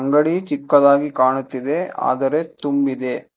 ಅಂಗಡಿ ಚಿಕ್ಕದಾಗಿ ಕಾಣುತ್ತಿದೆ ಆದರೆ ತುಂಬಿದೆ.